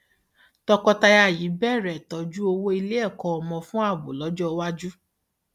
tọkọtaya yìí bẹrẹ tọjú owó ilé ẹkọ ọmọ fún ààbò lọjọ iwájú